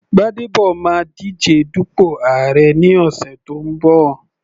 Gbadebo máa díje dupò àárẹ̀ ní ọ̀sẹ̀ tó ń bọ̀.